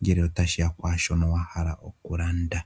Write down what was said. ngele otashiya kwaaashono wahala okulanda.